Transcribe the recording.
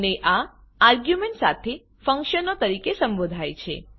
અને આ આર્ગ્યુંમેંટ સાથેનાં ફંક્શનો તરીકે સંબોધાય છે